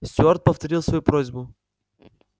стюарт повторил свою просьбу